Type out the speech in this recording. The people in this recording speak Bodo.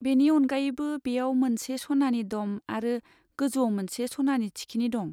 बेनि अनगायैबो बेयाव मोनसे सनानि डम आरो गोजौआव मोनसे सनानि थिखिनि दं।